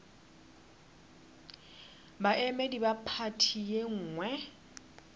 baemedi ba phathi ye nngwe